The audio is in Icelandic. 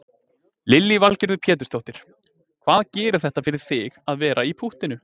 Lillý Valgerður Pétursdóttir: Hvað gerir þetta fyrir þig að vera í púttinu?